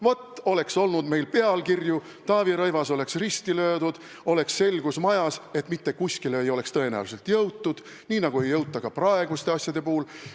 Vaat, oleks olnud pealkirju, Taavi Rõivas oleks risti löödud ja oleks olnud selgus majas, et mitte kuskile ei oleks tõenäoliselt jõutud, nii nagu ei jõuta ka praeguste asjade puhul.